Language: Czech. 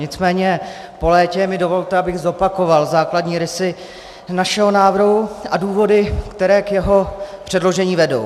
Nicméně po létě mi dovolte, abych zopakoval základní rysy našeho návrhu a důvody, které k jeho předložení vedou.